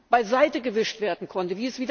beiseite gewischt werden konnte.